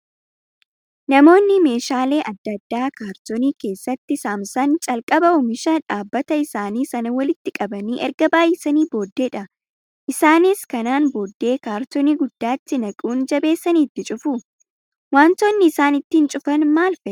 Namoonni meeshaalee adda addaa kaartoonii keessatti saamsan calqaba oomisha dhaabbata isaanii sana walitti qabanii erga baay'isanii booddeedha. Isaanis kanaan booddee kaartoonii guddaatti naquun jabeessanii itti cufu. Wantoonni isaan ittiin cufan maal fa'ii?